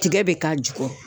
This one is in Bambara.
Tigɛ be k'a jukɔrɔ